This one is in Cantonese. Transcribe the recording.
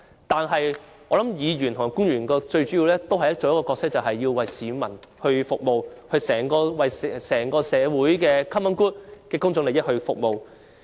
但是，無論是議員或官員，最主要的角色也是為市民服務，為整個社會的 common good 服務。